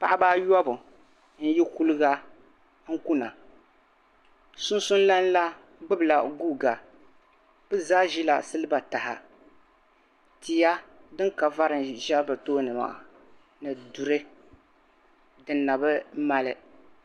paɣa ba ayɔbu n yi kuligan kuna sunsuni lana la gbubila guuka bɛ zaa ʒila siliba taha tia din ka vari n za bɛ tooni ni maani duri din na bi mali